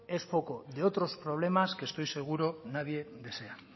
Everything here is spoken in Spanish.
es foco de otros problemas que estoy seguro nadie desea